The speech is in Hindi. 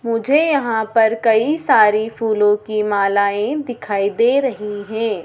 मुझे यहां पर कई सारी फूलों की मालाएं दिखाई दे रही हैं।